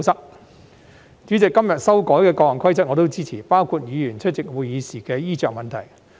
代理主席，今天修改的各項規則，我也支持，包括議員出席會議時的衣着問題。